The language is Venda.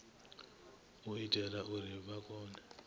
u itela uri vha kone